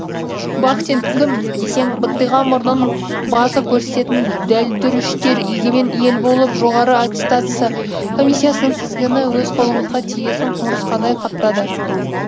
бахтин кім десең быттиған мұрнын басып көрсететін дәлдүріштер егемен ел болып жоғары аттестация комиссиясының тізгіні өз қолымызға тиесін құмырсқадай қаптады